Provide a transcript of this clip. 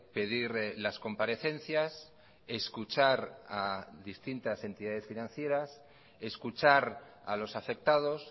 pedir las comparecencias escuchar a distintas entidades financieras escuchar a los afectados